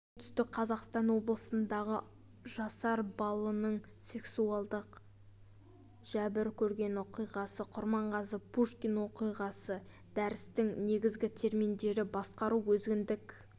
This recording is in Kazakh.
оңтүстік қазақстан облысындағы жасар балының сексуалдық жәбір көрген оқиғасы құрманғазы-пушкин оқиғасы дәрістің негізгі терминдері басқару өзіндік